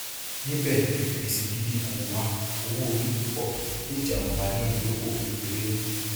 níbẹ gbèsè gidi kò wà owóorí púpọ le jàǹfààní ìdókò kékeré nu